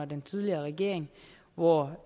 den tidligere regering hvor